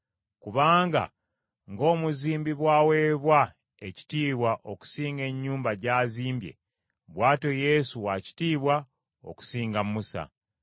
Kubanga ng’omuzimbi bw’aweebwa ekitiibwa okusinga ennyumba gy’azimbye, bw’atyo Yesu wa kitiibwa okusinga Musa.